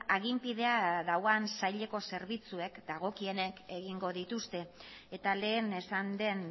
aginpidea duen saileko zerbitzuek dagokionek egingo dituzte eta lehen esan den